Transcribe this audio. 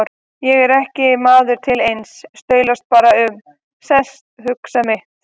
Ég er ekki maður til neins, staulast bara um, sest, hugsa mitt.